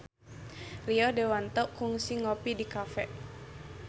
Rio Dewanto kungsi ngopi di cafe